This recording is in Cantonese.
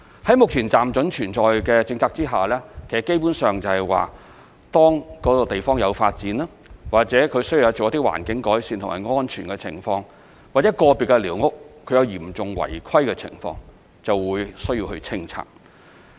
在目前"暫准存在"的政策下，基本上，當該地方有發展、或需要做一些環境改善或涉及一些安全情況、或個別寮屋有嚴重違規的情況，就會需要清拆寮屋。